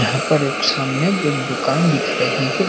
यहाँ पर एक सामने एक दुकान दिख रही है।